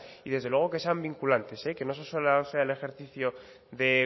y desde luego que sean vinculantes que no solo sea el ejercicio de